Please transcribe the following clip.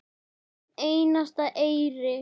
Hvern einasta eyri.